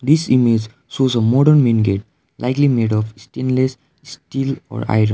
this image shows a modern main gate likely made of stainless ste steel or iron.